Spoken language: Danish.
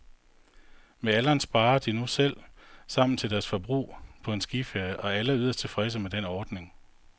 Med alderen sparer de nu selv sammen til deres forbrug på en skiferie, og alle er yderst tilfredse med den ordning.